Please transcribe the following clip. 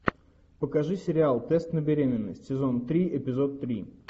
покажи сериал тест на беременность сезон три эпизод три